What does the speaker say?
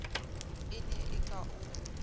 e ne e ka o